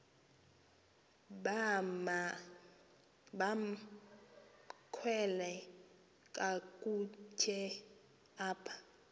bamkelwe kakuhte apha